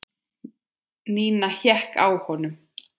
Nína hékk á honum.